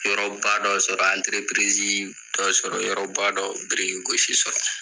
Yɔrɔba' dɔ sɔrɔ, anterepirizi dɔ sɔrɔ, yɔrɔba dɔ biriki gosi sɔrɔ.